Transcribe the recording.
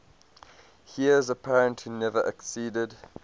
heirs apparent who never acceded